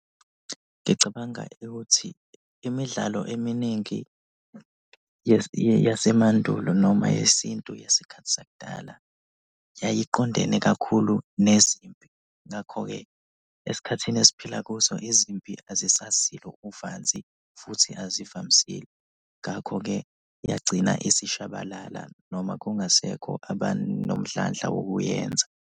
Ngicabanga ukuthi imidlalo eminingi yasemandulo noma yesintu yesikhathi sakudala yayiqondene kakhulu nezimpi ngakho-ke esikhathini esiphila kuso izimpi azisasilo uvanzi futhi azivamisile ngakho-ke yagcina isishabalala noma kungasekho abanomdlandla wokuyenza.